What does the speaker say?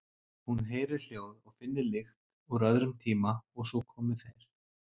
Hún heyri hljóð og finni lykt úr öðrum tíma og svo komi þeir.